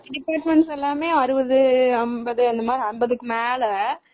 Departments எல்லாமே அறுபது, அம்பதுக்கு மேல